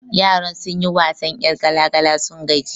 Yaran sun yi wasan 'yar gala gala sun gaji